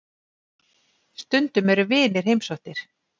Stundum eru vinir heimsóttir.